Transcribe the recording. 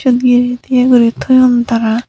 yod eye tiye toyon tara.